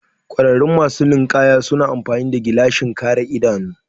ƙwararru masu ninkaya suna amfani gilashin kare idanu